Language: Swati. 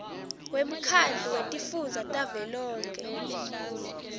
wemkhandlu wetifundza tavelonkhe